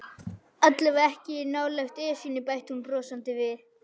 Allavega ekki nálægt Esjunni bætti hún brosandi við.